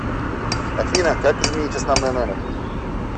афина как изменить основной номер